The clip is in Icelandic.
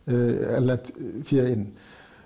erlent fé inn